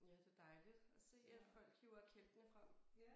Ja det dejligt at se at folk hiver kælkene frem